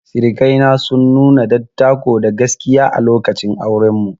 Sirikai na sun nuna dattako da gaskiya a lokacin auren mu.